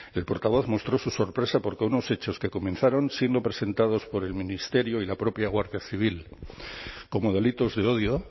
el portavoz mostró su sorpresa porque unos hechos que comenzaron siendo presentados por el ministerio y la propia guardia civil como delitos de odio